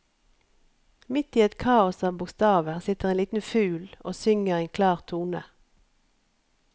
Midt i et kaos av bokstaver sitter en liten fugl og synger en klar tone.